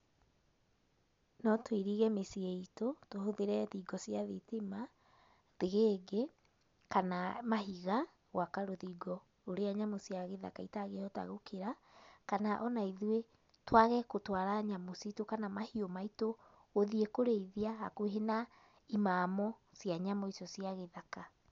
No tũirige mĩciĩ itũ tũhũthĩre thingo cia thitima, thĩgĩngĩ kana mahiga gwaka rũthingo rũrĩa nyamũ cia gĩthaka itangĩhota gũkĩra, kana ona ithuĩ twage gũtũara nyamũ citu kana mahiũ maitũ gũthiĩ kũrĩithia hakuhĩ na, imamo cia nyamũ icio cia gĩthaka.